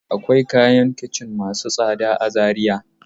Akawai kayan kicin masu tsada a Zariya.